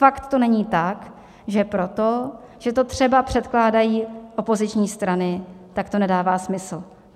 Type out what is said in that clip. Snad to není tak, že proto, že to třeba předkládají opoziční strany, tak to nedává smysl.